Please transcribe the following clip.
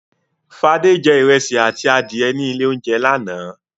Fadé jẹ ìrẹsì àti adìẹ ní ilé-oúnjẹ lánàá.